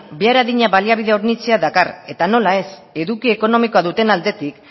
behar adina baliabide hornitzea dakar eta nola ez eduki ekonomikoa duten aldetik